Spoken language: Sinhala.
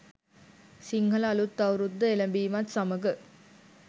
සිංහල අලුත් අවුරුද්ද එළඹීමත් සමඟ